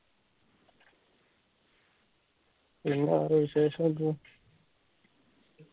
പിന്നെ വേറെ വിശേഷം എന്തുവാ